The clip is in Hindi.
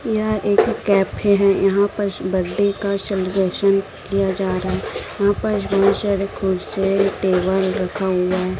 यह एक कैफे है। यहां पर बर्थडे का सेलिब्रेशन किया जा रहा है यहां पर बहोत सारे कुर्सी टेबल रखा हुआ है।